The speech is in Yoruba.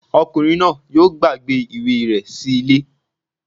Ọkùnrin náà yóò gbàgbé ìwé rẹ̀ sí ilé